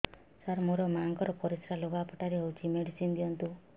ସାର ମୋର ମାଆଙ୍କର ପରିସ୍ରା ଲୁଗାପଟା ରେ ହଉଚି ମେଡିସିନ ଦିଅନ୍ତୁ